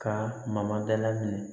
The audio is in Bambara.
Ka mama dala minɛ